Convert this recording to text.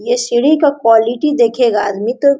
ये सीढ़ी का क्वॉलिटी देखेगा आदमी तो--